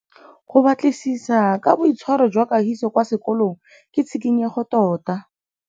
Go batlisisa ka boitshwaro jwa Kagiso kwa sekolong ke tshikinyêgô tota.